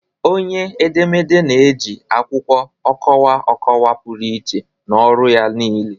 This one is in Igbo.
Onye edemede na-eji akwụkwọ ọkọwa okwu pụrụ iche n'ọrụ ya niile